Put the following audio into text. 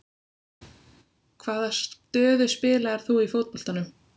Hvaða stöðu spilaðir þú í fótboltanum?